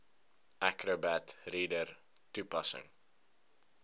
acrobat reader toepassing